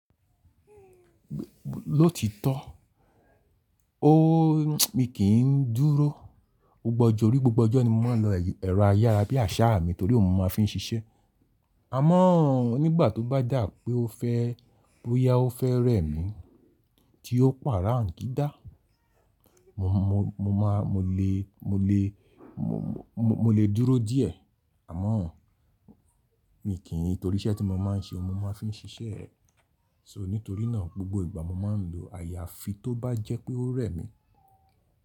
Lóòtítọ́, o mi kì í dúró. O gbọ́gbo ojọ orí gbogbo ọjọ́ ni mo máa ń lo ẹ̀rọ ayára bí àṣá mi torí òun mo máa ń fi ń ṣiṣẹ́. Àmọ́ nígbà tó bá dà pé ó fẹ́ boya ó fẹ́ rẹ̀ mi tí ó Pàràǹgídá, mo, mo, mo máa, mo lè, mo lè, mo, mo, mo lè dúró díẹ̀. Àmọ́ mi kì í torí iṣẹ́ tí mo máa ń ṣe mo máa ń fi ń ṣiṣẹ́. So nítorí náà gbogbo ìgbà mo máa ń lo àyà fi tó bá jẹ́ pé ó rẹ̀ mi.